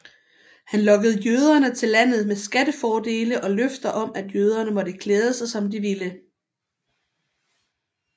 Han lokkede jøderne til landet med skattefordele og løfter om at jøderne måtte klæde sig som de ville